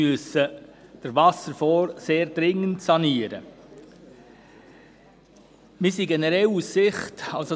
Es ist sehr dringend, den Wasserfonds zu sanieren.